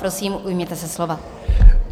Prosím, ujměte se slova.